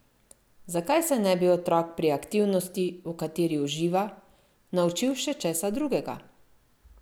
Zakaj se ne bi otrok pri aktivnosti, v kateri uživa, naučil še česa drugega?